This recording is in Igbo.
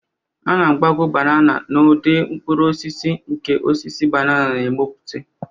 A na-agbagọ banana n'ụdị mkpụrụ osisi, nke osisi banana na-emepụta